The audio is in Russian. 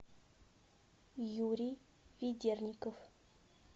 юрий ведерников